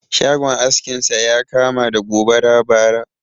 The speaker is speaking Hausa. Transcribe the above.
Shagon askin sa ya kama da gobara bara